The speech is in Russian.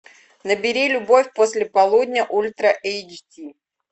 набери любовь после полудня ультра эйч ди